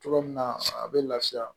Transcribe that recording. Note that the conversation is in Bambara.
Cogo min na a bɛ lafiya